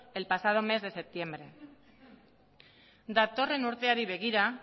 el pasado mes de septiembre datorren urteari begira